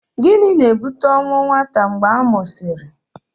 Gịnị na-ebute ọnwụ nwata mgbe a mụsịrị?